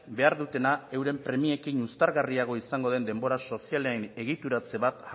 behar dutena euren premiekin uztargarriago izango den denbora sozialaren egituratze bat